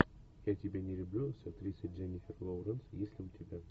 я тебя не люблю с актрисой дженифер лоуренс есть ли у тебя